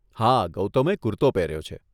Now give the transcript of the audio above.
હા, ગૌતમે કુરતો પહેર્યો છે.